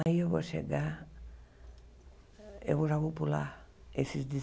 Aí eu vou chegar, eu vou já vou pular, esses